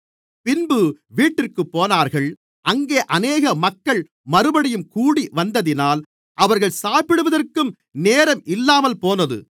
பின்பு வீட்டிற்குப் போனார்கள் அங்கே அநேக மக்கள் மறுபடியும் கூடிவந்ததினால் அவர்கள் சாப்பிடுவதற்கும் நேரம் இல்லாமல்போனது